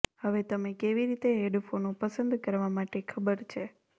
હવે તમે કેવી રીતે હેડફોનો પસંદ કરવા માટે ખબર છે